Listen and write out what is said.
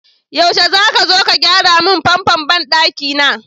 Yaushe zaka zo ka gyara mun famfon banɗaki na?